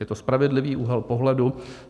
Je to spravedlivý úhel pohledu.